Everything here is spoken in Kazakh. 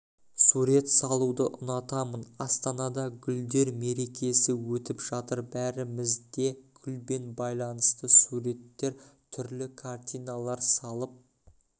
сурет салуды ұнатамын астанада гүлдер мерекесі өтіп жатыр бәріміз де гүлбен байланысты суреттер түрлі картиналар салып